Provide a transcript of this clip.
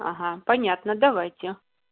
ага понятно давайте